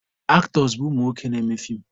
Aktọs bụ umunwoke na-eme feem.